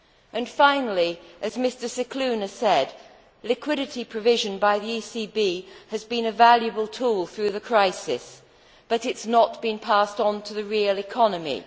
And finally, as Mr Scicluna said, liquidity provision by the ECB has been a valuable tool through the crisis, but it has not been passed on to the real economy.